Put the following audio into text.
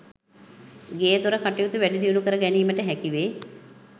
ගේදොර කටයුතු වැඩිදියුණු කර ගැනීමට හැකිවේ.